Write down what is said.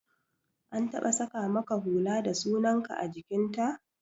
An taɓa saƙa maka hula da sunan ka a jikin ta?